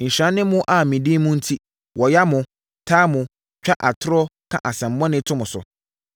“Nhyira ne mo a me din mu enti, wɔya mo, taa mo, twa atorɔ, ka asɛmmɔne to mo so.